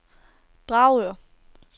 Dragør